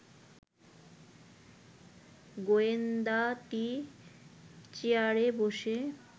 গোয়েন্দাটি চেয়ারে বসে